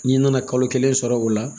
N'i nana kalo kelen sɔrɔ o la